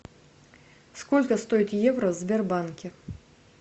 сколько стоит евро в сбербанке